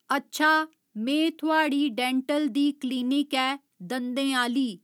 अच्छा में थुआढ़ी डेंटल दी क्लिनिक ऐ दन्दें आह्‌ली